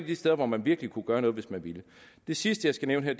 de steder man virkelig kunne gøre noget hvis man ville det sidste jeg skal nævne